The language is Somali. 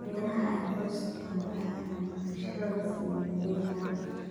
Beeraha ay qoysku maamulaan ayaa macaamiishooda siiya adeeg gaar ah.